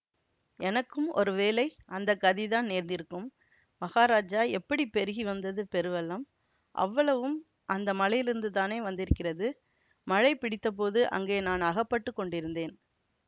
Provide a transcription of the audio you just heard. எனக்கும் ஒருவேளை அந்த கதிதான் நேர்ந்திருக்கும் மகாராஜா எப்படி பெருகி வந்தது பெருவெள்ளம் அவ்வளவும் அந்த மலையிலிருந்துதானே வந்திருக்கிறது மழை பிடித்தபோது அங்கே நான் அகப்பட்டு கொண்டிருந்தேன்